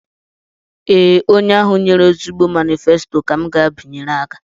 Ee, onye ahụ nyere ezigbo manifesto ka m ga-abịanyere aka